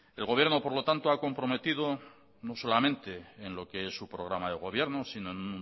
el gobierno por lo tanto ha comprometido no solamente en lo que es su programa de gobierno sino en